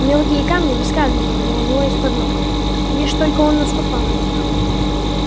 мелкие камни выскальзывали у него из под ног лишь только он наступал на них